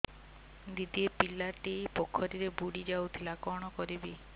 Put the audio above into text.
ଦିଦି ଏ ପିଲାଟି ପୋଖରୀରେ ବୁଡ଼ି ଯାଉଥିଲା କଣ କରିବି